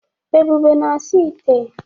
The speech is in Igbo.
Ebube na-asa ite